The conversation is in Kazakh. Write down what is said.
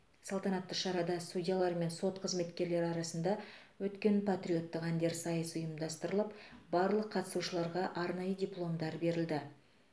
салтанатты шарада судьялар мен сот қызметкерлері арасында өткен патриоттық әндер сайысы ұйымдастырылып барлық қатысушыларға арнайы дипломдар берілді